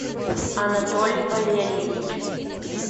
анатолий валерьевич